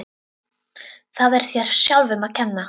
Það er þér sjálfum að kenna.